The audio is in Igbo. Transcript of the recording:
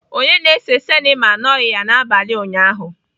Onye na-ese sinima anọghị ya n'abalị ụnyaahụ.